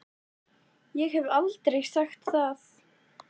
Ég hef ekki sagt það!